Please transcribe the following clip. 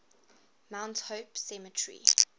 mount hope cemetery